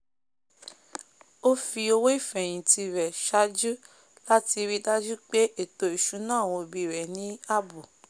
ó fi owó ìfèhìntì rẹ̀ sàájú láti ríi dájú pé ètò ìsúná àwọn òbí rẹ̀ ní ààbò